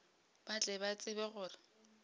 ba tle ba tsebe gore